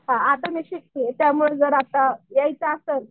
आता मी शिकतीये त्यामुळं आता जर यायचं असेल